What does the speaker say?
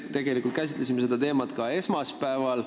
Me tegelikult käsitlesime seda teemat ka esmaspäeval.